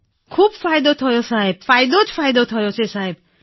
ખૂબ જ સાહેબ ફાયદો જ ફાયદો થયો છે સાહેબ